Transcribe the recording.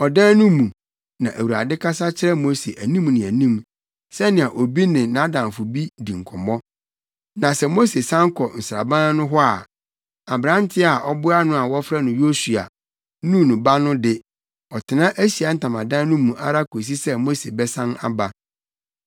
Ɔdan no mu, na Awurade kasa kyerɛ Mose anim ne anim, sɛnea obi ne nʼadamfo di nkɔmmɔ. Na sɛ Mose san kɔ nsraban no hɔ a, aberante a ɔboa no a wɔfrɛ no Yosua (Nun ba) no de, ɔtena Ahyiae Ntamadan no mu ara kosi sɛ Mose bɛsan aba.